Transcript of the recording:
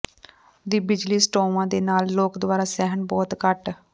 ਦੀ ਬਿਜਲੀ ਸਟੋਵਾ ਦੇ ਨਾਲ ਲੋਕ ਦੁਆਰਾ ਸਹਿਣ ਬਹੁਤ ਘੱਟ